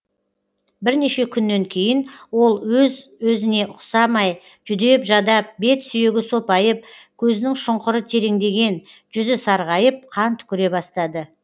бірнеше күннен кейін ол өзі өзіне ұқсамай жүдеп жадап бет сүйегі сопайып көзінің шұңқыры тереңдеген жүзі сарғайып қан түкіре бастады